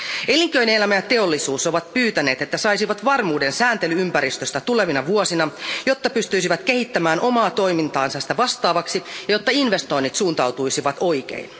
Elinkeinoelämä ja teollisuus ovat pyytäneet, että saisivat varmuuden sääntely ympäristöstä tulevina vuosina, jotta ne pystyisivät kehittämään omaa toimintaansa sitä vastaavaksi ja jotta investoinnit suuntautuisivat oikein.